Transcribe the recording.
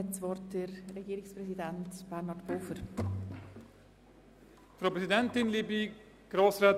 Nun hat Regierungspräsident Pulver das Wort.